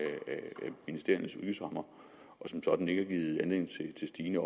ministeriernes udgiftsrammer og som sådan ikke har givet anledning til stigende